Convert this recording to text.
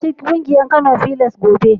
Ka ziyarci ƙungiyar Kano filas gobe.